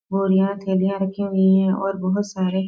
बोरियां थैलियां रखी हुई है और बहुत सारे --